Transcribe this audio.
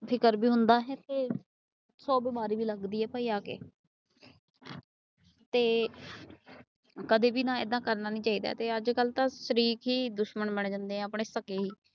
ਫਿਕਰ ਵੀ ਹੁੰਦਾ ਤੇ ਸੋ ਬਿਮਾਰੀ ਵੀ ਲੱਗਦੀ ਏ ਭਾਈ ਆਕੇ । ਤੇ ਕਦੇ ਵੀ ਏਦਾਂ ਕਰਨਾ ਵੀ ਨਹੀਂ ਚਾਹੀਦਾ। ਅੱਜਕਲ ਤਾਂ ਸ਼ਰੀਕ ਹੀ ਦੁਸ਼ਮਣ ਬਣ ਜਾਂਦੇ ਨੇ ਆਪਣੇ ਸੱਕੇ ਏ।